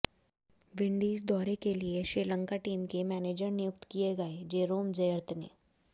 Windies दौरे के लिए श्रीलंका टीम के मैनेजर नियुक्त किए गए जेरोम जयरत्ने